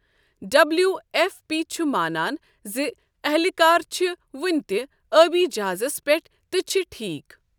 W F P چھُ مانان زِ اہلکار چھِ وُنہِ تہِ ٲبی جہازَس پٮ۪ٹھ تہٕ چھِ ٹھیٖکھ ۔